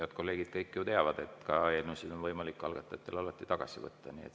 Head kolleegid kõik ju teavad, et eelnõusid on võimalik algatajatel alati tagasi võtta.